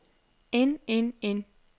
end end end